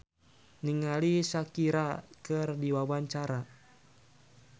Faturrahman olohok ningali Shakira keur diwawancara